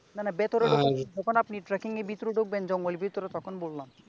না না ভিতরে যখন আপনি tracking নিয়ে ভেতরে ঢুকবে জঙ্গলের ভিতরে তখন বললাম।